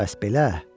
Bəs belə?